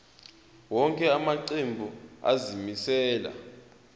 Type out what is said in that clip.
wonke amaqembu azimisela